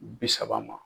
Bi saba ma